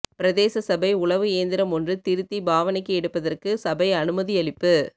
பிரதேச சபை உழவு இயந்திரம் ஒன்று திருத்தி பாவனைக்கு எடுப்பதற்கு சபை அனுமதியளிப்பு